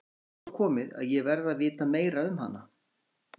Nú er svo komið að ég verð að vita meira um hana.